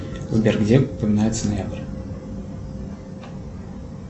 сбер где упоминается ноябрь